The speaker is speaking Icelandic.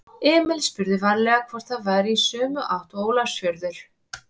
Emil spurði varlega hvort það væri í sömu átt og Ólafsfjörður.